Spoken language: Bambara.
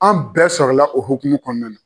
An bɛɛ sɔrɔlala o hokumun kɔnɔna na.